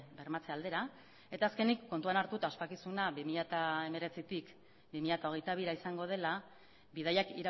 bermatze aldera eta azkenik kontuan hartuta ospakizuna bi mila hemeretzitik bi mila hogeita bira izango dela bidaiak